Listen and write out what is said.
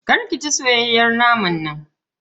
Kar ki ci soyayyen naman nan.